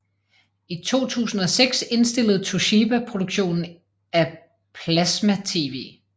I 2006 indstillede Toshiba produktionen af plasmatv